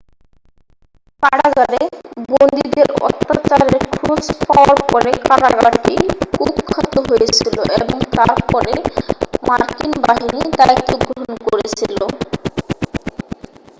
কারাগারে বন্দীদের অত্যাচারের খোঁজ পাওয়ার পরে কারাগারটি কুখ্যাত হয়েছিল এবং তার পরে মার্কিন বাহিনী দায়িত্ব গ্রহণ করেছিল